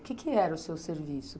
O que era o seu serviço?